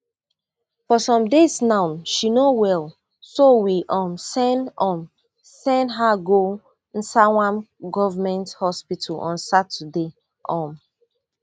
for some days now she no well so we um send um send her go nsawam government hospital on saturday um